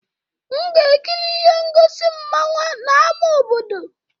M ga-ekiri ihe ngosi mmanwa n' ama obodo